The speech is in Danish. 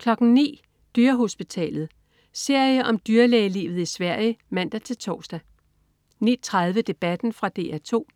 09.00 Dyrehospitalet. Serie om dyrlægelivet i Sverige (man-tors) 09.30 Debatten. Fra DR 2